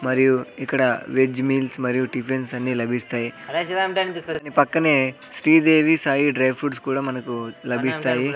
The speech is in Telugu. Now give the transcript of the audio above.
మరియు ఇక్కడ వెజ్ మీల్స్ మరియు టిఫిన్స్ అన్నీ లభిస్తాయి పక్కనే శ్రీదేవి సాయి డ్రై ఫ్రూట్స్ కూడా మనకు లభిస్తాయి.